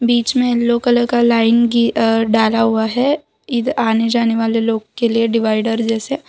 बीच में yellow colour का line डाला हुआ है आने जाने वाले लोग के लिए डिवाइडर जैसे।